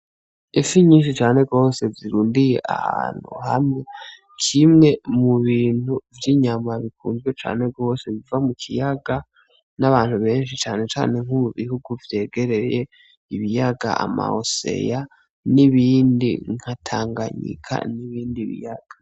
Ifi nyinshi cane gose zirundanye ahantu hamwe, kimwe mu bintu vy'inyama bikunzwe cane gose biva mu kiyaga n'abantu benshi cane cane nko mu bihugu vyegereye ibiyaga, amabahari n'ibindi nka Tanganyika n'ibindi biyaga.